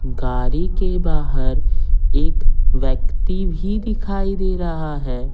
गारी के बाहर एक व्यक्ति भी दिखाई दे रहा है।